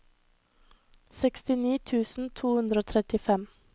sekstini tusen to hundre og trettifem